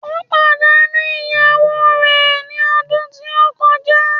Ó pàdánù ìyàwó rè ní ọdún tí ó kọjá